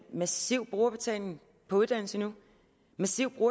massiv brugerbetaling på uddannelse nu en massiv